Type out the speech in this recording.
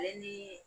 Ale ni